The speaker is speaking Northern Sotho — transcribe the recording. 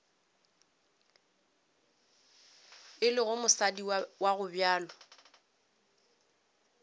e lego mosadi wa gobjalo